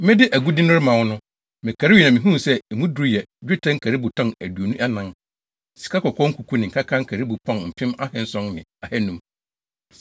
Mede agude no rema wɔn no, mekarii na mihuu sɛ emu duru yɛ: dwetɛ nkaribo tɔn aduonu anan, sikakɔkɔɔ nkuku ne nkaka nkaribo pɔn mpem ahanson ne ahannum, sikakɔkɔɔ nkaribo pɔn mpem ahanson ne ahannum,